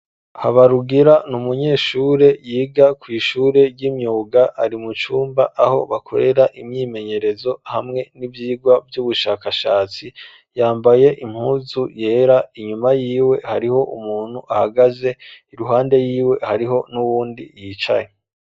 Habarugira, ni umunyeshure, yiga kw’ishure ry'imyuga; ari mu cumba, aho bakorera imyimenyerezo, hamwe n'ivyigwa vy'ubushakashatsi; yambaye impuzu yera, inyuma yiwe, hariho umuntu ahagaze, iruhande yiwe, hariho n'uwundi yicaye.